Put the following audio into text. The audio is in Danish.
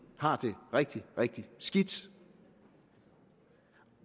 har det rigtig rigtig skidt